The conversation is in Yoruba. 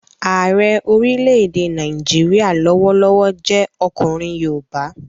Ààrẹ orílẹ̀-èdè Nàìjíríyà lọ́wọ́lọ́wọ́ jẹ́ ọkùnrin yoòbá